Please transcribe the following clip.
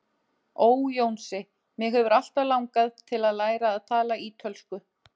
Ó, Jónsi, mig hefur alltaf langað til að læra að tala ítölsku